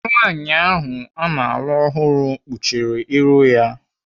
Nwaanyị ahụ ana alụ ọhụrụ kpuchiri ihu ya.